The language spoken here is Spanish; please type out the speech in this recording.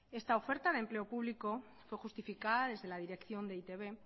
esta oferta de empleo público fue justificada desde la dirección de e i te be